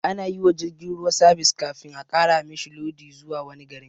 Anayiwa jirgin ruwa sabis kafin a ƙara mishi lodi zuwa wani garin